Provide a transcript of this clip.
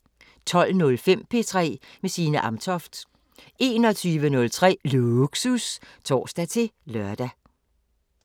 12:05: P3 med Signe Amtoft 21:03: Lågsus (tor-lør)